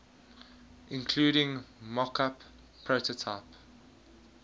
including mockup prototype